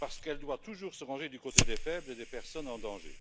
parce qu'elle doit toujours se ranger du côté des faibles et des personnes en danger.